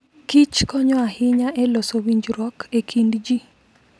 Kich konyo ahinya e loso winjruok e kind ji.